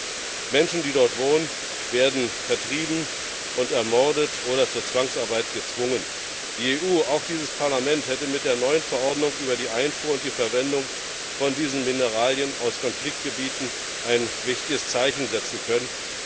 Manche Menschen, die dort wohnen, werden vertrieben und ermordet oder zur Zwangsarbeit gezwungen. Die EU, auch dieses Parlament, hätte mit der neuen Verordnung über die Einfuhr und die Verwendung von diesen Mineralien aus Konfliktgebieten ein wichtiges Zeichen setzen können.